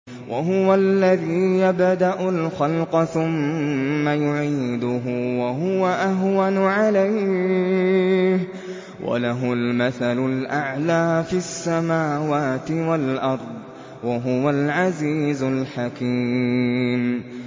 وَهُوَ الَّذِي يَبْدَأُ الْخَلْقَ ثُمَّ يُعِيدُهُ وَهُوَ أَهْوَنُ عَلَيْهِ ۚ وَلَهُ الْمَثَلُ الْأَعْلَىٰ فِي السَّمَاوَاتِ وَالْأَرْضِ ۚ وَهُوَ الْعَزِيزُ الْحَكِيمُ